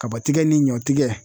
Kabatigɛ ni ɲɔtigɛ